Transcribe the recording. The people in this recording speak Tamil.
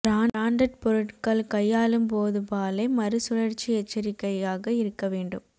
பிராண்டட் பொருட்கள் கையாளும் போது பாலே மறுசுழற்சி எச்சரிக்கையாக இருக்க வேண்டும்